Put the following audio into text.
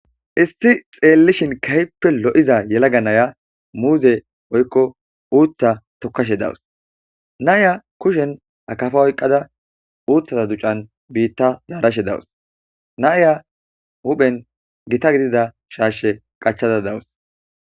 Issi xeellin kehipe lo7iza yelaga na7iya muuze woykko uutha tokkashe de7awus.naya kushen akafa oykada uta duccan bita yegashe dawus na'iya huphen gita gidida shashe qaccada dawus